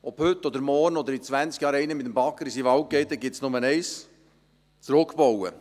Ob heute oder morgen oder in zwanzig Jahren jemand mit dem Bagger in seinen Wald geht – da gibt es nur Eines: zurückbauen.